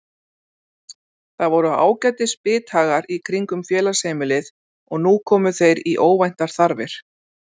Það voru ágætis bithagar í kringum félagsheimilið og nú komu þeir í óvæntar þarfir.